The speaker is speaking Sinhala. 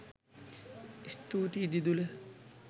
ස්තුතියි දිදුල